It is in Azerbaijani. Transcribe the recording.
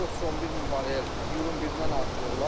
411 min barrel iyunun birindən artırırlar.